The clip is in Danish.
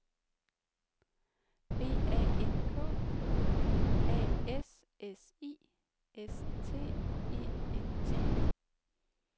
B A N K A S S I S T E N T